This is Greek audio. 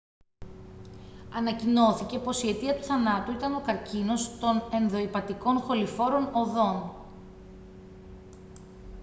ανακοινώθηκε πως η αιτία του θανάτου ήταν ο καρκίνος των ενδοηπατικών χοληφόρων οδών